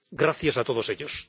Gracias a todos ellos.